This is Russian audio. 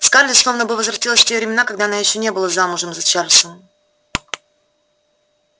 скарлетт словно бы возвратилась в те времена когда она ещё не была замужем за чарлзом